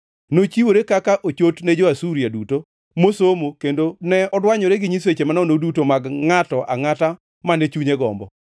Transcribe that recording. Nochiwore kaka ochot ne jo-Asuria duto mosomo kendo ne odwanyore gi nyiseche manono duto mag ngʼato angʼata mane chunye gombo.